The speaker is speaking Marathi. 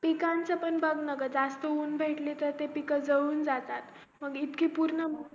पिकांचं पण बघ नाग जास्त ऊन भेटलकी तर ते पीक जाळून जात मग इतकं पूर्ण